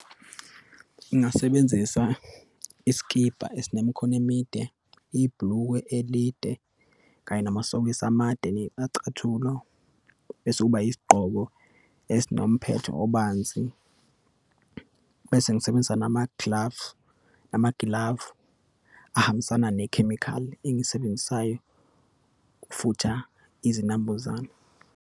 Ngingasebenzisa isikibha esinemikhono emide, ibhulukwe elide, kanye namasokisi amade, nachathulo, bese kuba isigqoko esinomphetho obanzi, bese ngisebenzisa nama-glove, namagilavu ahambisana nekhemikhali engiyisebenzisayo, ukufutha izinambuzane.